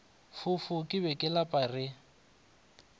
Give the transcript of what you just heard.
fofo ke ba lapa re